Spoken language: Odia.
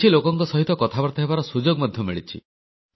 କିଛି ଲୋକଙ୍କ ସହିତ କଥାବାର୍ତ୍ତା ହେବାର ସୁଯୋଗ ମଧ୍ୟ ମିଳିଛି